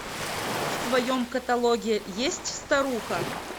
в твоем каталоге есть старуха